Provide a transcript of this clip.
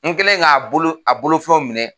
N kɛlen k'a bolo a bolofɛnw minɛ